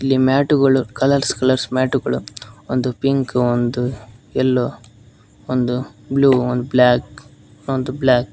ಈ ಮ್ಯಾಟುಗಳು colours colours ಮ್ಯಾಟುಗಳು ಒಂದು ಪಿಂಕು ಒಂದು ಎಲ್ಲೋ ಒಂದು ಬ್ಲೂ ಒಂದು ಬ್ಲಾಕ್ ಒಂದು ಬ್ಲಾಕ್ --